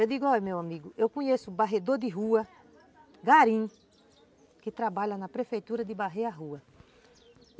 Eu digo, olha meu amigo, eu conheço varredor de rua, gari, que trabalha na prefeitura de varrer a rua.